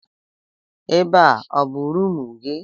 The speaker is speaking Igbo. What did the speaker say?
Ebe a ọ bụ rumụ gị?